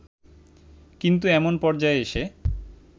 কিন্ত এমন পর্যায়ে এসে